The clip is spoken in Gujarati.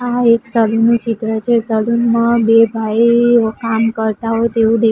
આ એક સલૂન નુ ચિત્ર છે સલૂન મા બે ભાઈ કામ કરતા હોઈ તેવુ દે--